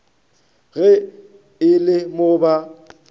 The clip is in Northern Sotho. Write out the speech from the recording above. ge e le mo ba